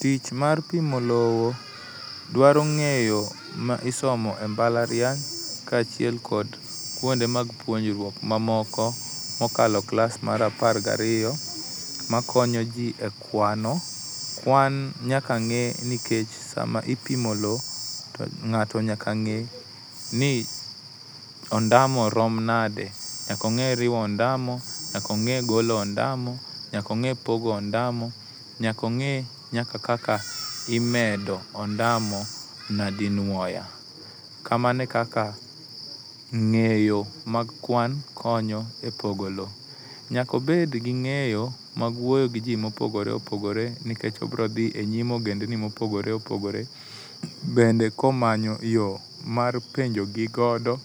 Tich mar pimo lowo dwaro ng'eyo ma isomo e mbalarany kaachiel kod kuonde puonjruok mamoko mokalo klas mar apar gariyo makonyoji e kwano. Kwan nyaka ng'e nikech sama ipimo lowo to ng'ato nyaka ng'e ni ondamo rom nade. Nyaka ong'e riwo ondamo, nyaka ong'e golo ondamo, nyaka ong'e pogo ondamo, nyaka ong'e nyaka kaka imedo ondamo nyadinuoya. Kamano e kaka ng'eyo mag kwan konyo epogo lowo. Nyaka obed gi ng'eyo mag wuoyo giji mopogore opogore nikech obiro dhi enyim ogendini mopogore opogoe bende komanyo yoo mar penjogi godo